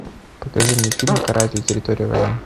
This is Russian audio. покажи мне фильм каратель территория войны